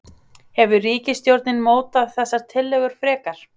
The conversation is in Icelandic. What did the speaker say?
Hefur ríkisstjórnin mótað þessar tillögur frekar?